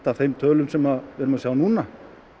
af þeim tölum sem við erum að sjá núna